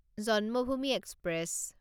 Janmabhoomi express